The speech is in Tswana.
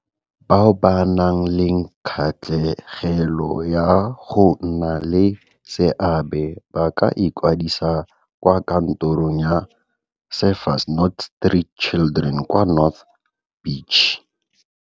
Bao ba nang le kgatlhegelo ya go nna le seabe [, ba ka ikwadisa kwa kantorong ya Surfers Not Street Children kwa North Beach.